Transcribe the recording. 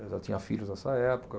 Eu já tinha filhos nessa época.